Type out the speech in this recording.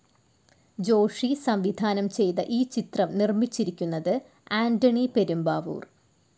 ജോഷി സംവിധാനം ചെയ്ത ഈ ചിത്രം നിർമ്മിച്ചിരിക്കുന്നത് ആന്റണി പെരുമ്പാവൂർ.